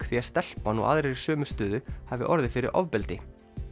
því að stelpan og aðrir í sömu stöðu hafi orðið fyrir ofbeldi